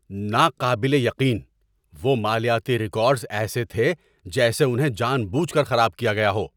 ناقابل یقین! وہ مالیاتی ریکارڈز ایسے تھے جیسے انہیں جان بوجھ کر خراب کیا گیا ہو!